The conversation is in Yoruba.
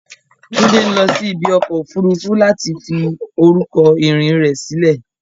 Tunde ń lọ sí ibi ọkọ̀ òfuurufú láti fi orúkọ ìrìn rẹ̀ sílẹ̀.